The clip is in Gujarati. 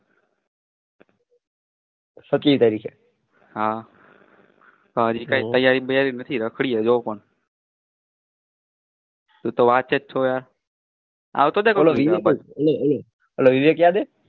સત્યાવીસ તારીખએ કઈ તૈયારી બાઈયારી નથી પણ રાખડીએ